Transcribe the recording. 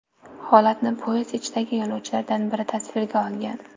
Holatni poyezd ichidagi yo‘lovchilardan biri tasvirga olgan.